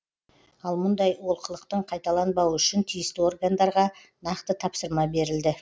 ал мұндай олқылықтың қайталанбауы үшін тиісті органдарға нақты тапсырма берілді